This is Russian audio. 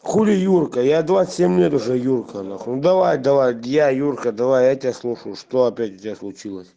хули юркая двадцать семь лет уже юрка давай давай я юрка давай я тебя слушаю что опять у тебя случилось